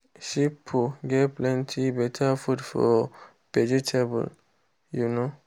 sheep poo get plenty better food for vegetable. um